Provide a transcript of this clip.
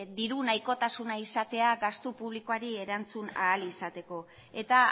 diru nahikotasuna izatea gastu publikoari erantzun ahal izateko eta